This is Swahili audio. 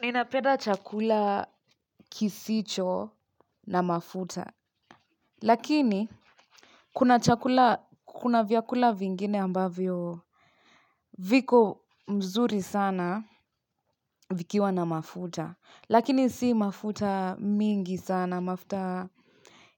Ninapenda chakula kisicho na mafuta. Lakini, kuna chakula, kuna vyakula vingine ambavyo viko mzuri sana vikiwa na mafuta. Lakini si mafuta mingi sana, mafuta